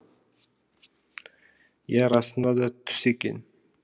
иә расында да түс екен